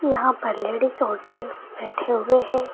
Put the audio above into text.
यहां पर लेडिस और जेंट्स बैठे हुए हैं।